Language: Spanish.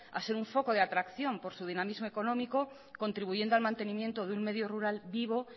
a ser un foco de atracción por su dinamismo económico contribuyendo al mantenimiento de un medio rural vivo